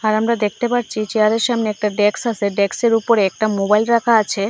আর আমরা দেখতে পাচ্ছি চেয়ারের সামনে একটা ডেক্স আছে ডেক্সের উপরে একটা মোবাইল রাখা আছে।